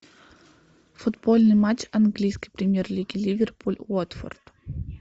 футбольный матч английской премьер лиги ливерпуль уотфорд